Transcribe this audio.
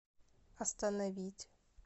остановить